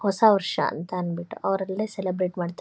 ಹೊಸ ವರ್ಷ ಅಂತ ಅಂದ್ಬಿಟ್ಟು ಅವ್ರಲ್ಲೇ ಸೆಲೆಬ್ರೇಟ್ ಮಾಡ್ತರ್--.